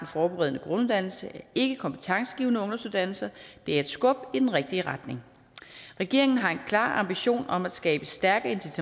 forberedende grunduddannelse er ikke kompetencegivende ungdomsuddannelser det er et skub i den rigtige retning regeringen har en klar ambition om at skabe stærke